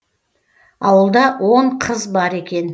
ауылда он қыз бар екен